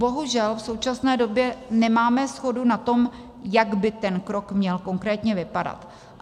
Bohužel v současné době nemáme shodu na tom, jak by ten krok měl konkrétně vypadat.